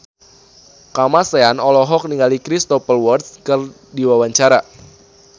Kamasean olohok ningali Cristhoper Waltz keur diwawancara